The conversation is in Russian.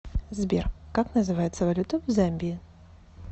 сбер как называется валюта в замбии